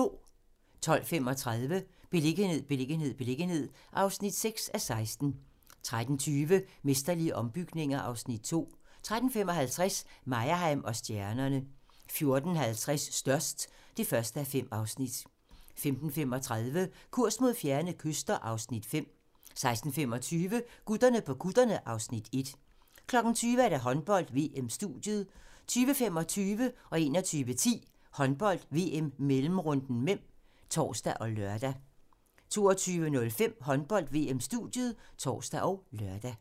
12:35: Beliggenhed, beliggenhed, beliggenhed (6:16) 13:20: Mesterlige ombygninger (Afs. 2) 13:55: Meyerheim & stjernerne 14:50: Størst (1:5) 15:35: Kurs mod fjerne kyster (Afs. 5) 16:25: Gutterne på kutterne (Afs. 1) 20:00: Håndbold: VM - studiet 20:25: Håndbold: VM - mellemrunden (m) (tor og lør) 21:10: Håndbold: VM - mellemrunden (m) (tor og lør) 22:05: Håndbold: VM-studiet (tor og lør)